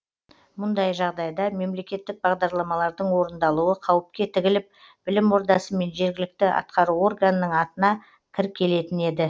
мұндай жағдайда мемлекеттік бағдарламалардың орындалуы қауіпке тігіліп білім ордасы мен жергілікті атқару органының атына кір келетін еді